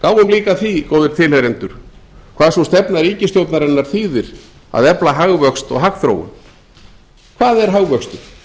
líka að því góðir tilheyrendur hvað sú stefna ríkisstjórnarinnar þýðir að efla hagvöxt og hagþróun hvað er hagvöxtur